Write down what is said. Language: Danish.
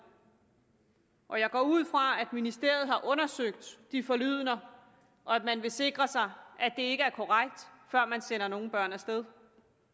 og jeg går ud fra at ministeriet har undersøgt de forlydender og at man vil sikre sig at det ikke er korrekt før man sender nogen børn af sted